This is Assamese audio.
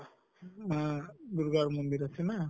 উম দুৰ্গা মন্দিৰ আছে ন?